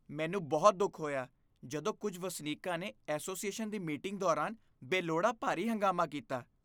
ਮੈਨੂੰ ਬਹੁਤ ਦੁੱਖ ਹੋਇਆ ਜਦੋਂ ਕੁੱਝ ਵਸਨੀਕਾਂ ਨੇ ਐਸੋਸੀਏਸ਼ਨ ਦੀ ਮੀਟਿੰਗ ਦੌਰਾਨ ਬੇਲੋੜਾ ਭਾਰੀ ਹੰਗਾਮਾ ਕੀਤਾ।